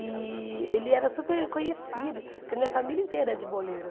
E ele era super conhecido, porque minha família inteira é de boleiro.